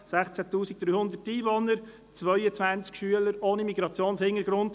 16 300 Einwohner, 22 Schüler ohne Migrationshintergrund.